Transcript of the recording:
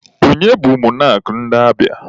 Onye bụ mọnak ndị Abịa?